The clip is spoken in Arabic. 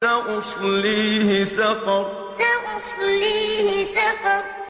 سَأُصْلِيهِ سَقَرَ سَأُصْلِيهِ سَقَرَ